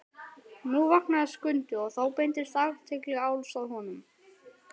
Nú vaknaði Skundi og þá beindist athygli Álfs að honum.